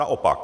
Naopak.